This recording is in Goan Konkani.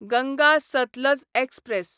गंगा सतलज एक्सप्रॅस